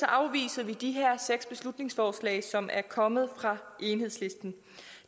afviser vi de her seks beslutningsforslag som er kommet fra enhedslisten